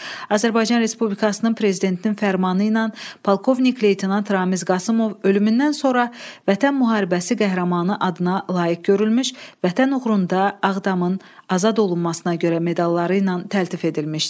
Azərbaycan Respublikasının prezidentinin fərmanı ilə polkovnik leytenant Ramiz Qasımov ölümündən sonra Vətən müharibəsi qəhrəmanı adına layiq görülmüş, Vətən uğrunda Ağdamın azad olunmasına görə medalları ilə təltif edilmişdir.